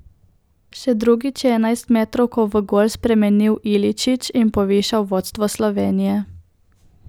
Še drugič je enajstmetrovko v gol spremenil Iličić in povišal vodstvo Slovenije.